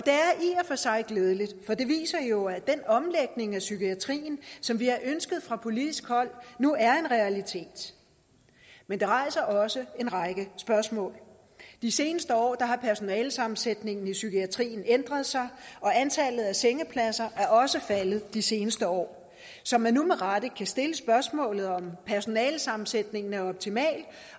for sig glædeligt for det viser jo at den omlægning af psykiatrien som vi har ønsket fra politisk hold nu er en realitet men det rejser også en række spørgsmål de seneste år har personalesammensætningen i psykiatrien ændret sig og antallet af sengepladser er også faldet de seneste år så man nu med rette kan stille spørgsmålet om personalesammensætningen er optimal